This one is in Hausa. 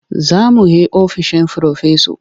Za mu he ofishin Firofesa.